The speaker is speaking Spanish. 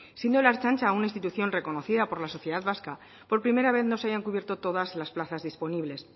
siendo la ertzaintza una institución reconocida por la sociedad vasca por primera vez no se hayan cubierto todas las plazas disponibles